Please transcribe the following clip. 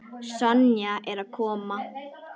Sonja er að koma.